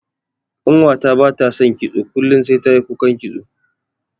Ƙanwata bata son kitso kullun sai tayi kukan kitso.